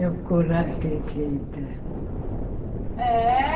É o colar que enfeita. É